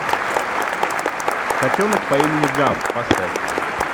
котенок по имени гав поставь